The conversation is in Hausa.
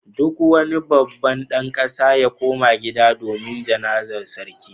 Duk wani babban dan kasa ya koma gida domin Jana'zar sarki